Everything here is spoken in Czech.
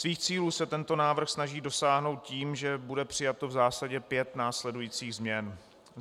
Svých cílů se tento návrh snaží dosáhnout tím, že bude přijato v zásadě pět následujících změn: